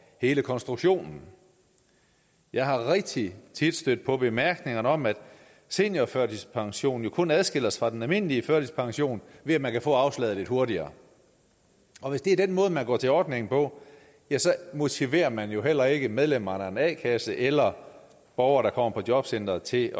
hele konstruktionen jeg er rigtig tit stødt på bemærkningen om at seniorførtidspension kun adskiller sig fra den almindelige førtidspension ved at man kan få afslaget lidt hurtigere og hvis det er den måde man går til ordningen på ja så motiverer man jo heller ikke medlemmerne af en a kasse eller borgere der kommer på jobcenteret til